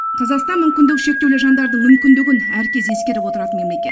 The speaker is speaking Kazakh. қазақстан мүмкіндігі шектеулі жандардың мүмкіндігін әркез ескеріп отыратын мемлекет